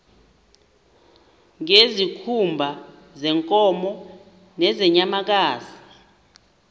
ngezikhumba zeenkomo nezeenyamakazi